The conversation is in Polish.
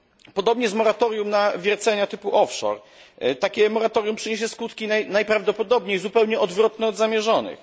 Podobnie jest z moratorium na wiercenia typu off shore takie moratorium przyniesie skutki najprawdopodobniej zupełnie odwrotne od zamierzonych.